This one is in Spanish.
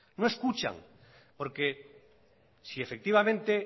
no escuchan porque sí efectivamente